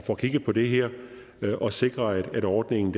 får kigget på det her og sikrer at ordningen